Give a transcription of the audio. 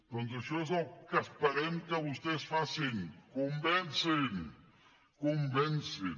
doncs això és el que esperem que vostès facin convencin convencin